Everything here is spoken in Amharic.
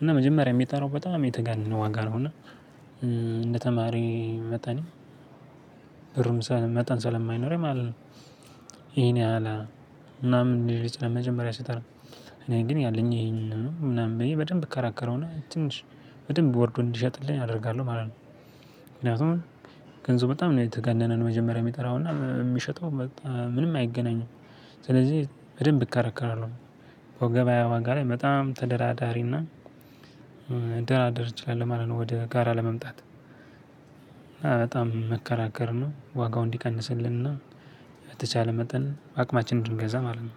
እና መጀመሪያ የሚጠራው በጣም የተጋነነ ዋጋ ነው እና እንደ ተማሪ መጠኔ ብርም መጠን ሳልማይኖረኝ ማለት ነው ነው። ይሄን ያህል እና ምን ሊል ይችላል መጀመሪያ ይሰጣል። እኔ ግን ያለኝ ይሄንን ምናምን በይ በደንብ እከራከረውና ትንሽ በደንብ ወርዶ እንዲሸጥልኝ አደርጋለሁ ማለት ነው። ምክንያቱም ገንዘቡ በጣም ነው የተጋነነን መጀመሪያ የሚጠራውና የሚሸጠው በጣም ምንም አይገናኝም። ስለዚህ በደንብ እከረከራለሁ። በገበያ ዋጋ ላይ በጣም ተደራዳሪና መደራደር እችላለው ማለት ነው። ወደ ጋራ ለመምጣት በጣም መከራከር ነው ዋጋው እንዲቀንስልንና በተቻለ መጠን በአቅማችን እንድንገዛ ማለት ነው